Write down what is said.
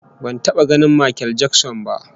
Ban taba ganin Makel Jakson ba